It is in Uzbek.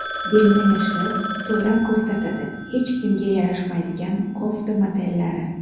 Belni yashirib, to‘la ko‘rsatadi: Hech kimga yarashmaydigan kofta modellari .